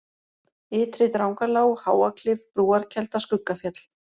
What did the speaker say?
Ytri-Drangalág, Háaklif, Brúarkelda, Skuggafjöll